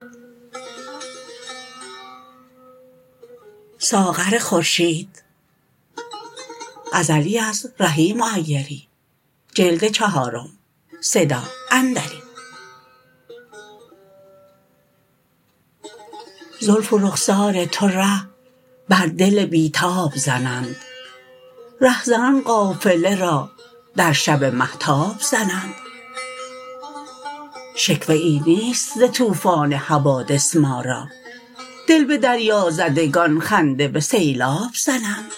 زلف و رخسار تو ره بر دل بی تاب زنند رهزنان قافله را در شب مهتاب زنند شکوه ای نیست ز طوفان حوادث ما را دل به دریازدگان خنده به سیلاب زنند